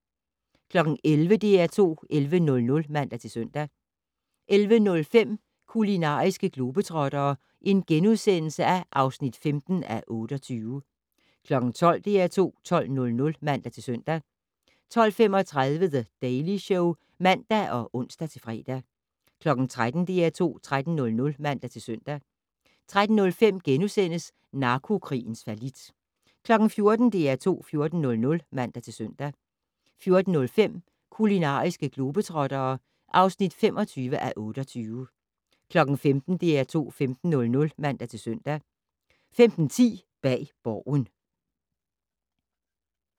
11:00: DR2 11:00 (man-søn) 11:05: Kulinariske globetrottere (15:28)* 12:00: DR2 12:00 (man-søn) 12:35: The Daily Show (man og ons-fre) 13:00: DR2 13:00 (man-søn) 13:05: Narkokrigens fallit * 14:00: DR2 14:00 (man-søn) 14:05: Kulinariske globetrottere (25:28) 15:00: DR2 15:00 (man-søn) 15:10: Bag Borgen